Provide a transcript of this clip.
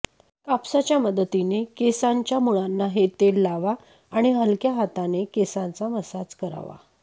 कापसाच्या मदतीने केसांच्या मुळांना हे तेला लावा आणि हलक्या हाताने केसांचा मसाज करावा